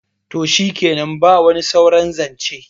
to shikenan ba wani sauran zance